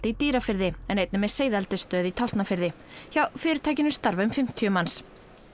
í Dýrafirði en einnig með seiðaeldisstöð í Tálknafirði hjá fyrirtækinu starfa um fimmtíu manns